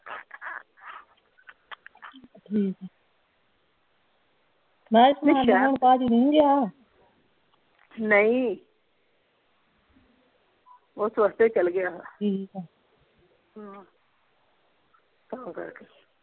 ਠੀਕ ਆ ਮੈਂ ਕਿਹਾ ਭਾਜੀ ਨਹੀਂ ਗਿਆ ਨਹੀਂ ਓਹ ਸਵਖਤੇ ਹੀ ਚੱਲ ਗਿਆ ਆ ਠੀਕ ਆ ਤਾਂ ਕਰਕੇ।